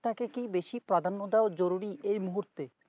তাকে কি বেশি প্রাধান্য দেয় জরুরি এই মুহূর্তে